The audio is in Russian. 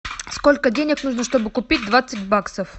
сколько денег нужно чтобы купить двадцать баксов